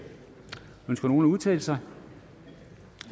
ønsker nogen at udtale sig da